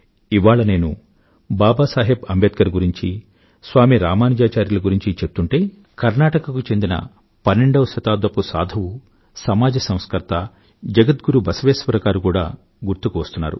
ఇవాళ నేను బాబాసాహెబ్ అంబేడ్కర్ గురించి స్వామీ రామానుజాచార్యుల గురించీ చెప్తుంటే కర్ణాటక కు చెందిన పన్నెండవ శతాబ్దపు సాధువు సమాజ సంస్కర్త జగద్గురు బసవేశ్వరగారు కూడా గుర్తుకు వస్తున్నారు